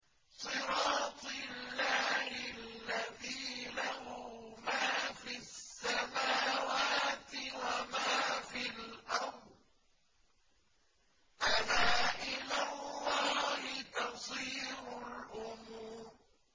صِرَاطِ اللَّهِ الَّذِي لَهُ مَا فِي السَّمَاوَاتِ وَمَا فِي الْأَرْضِ ۗ أَلَا إِلَى اللَّهِ تَصِيرُ الْأُمُورُ